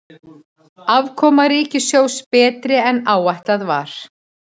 Afkoma ríkissjóðs betri en áætlað var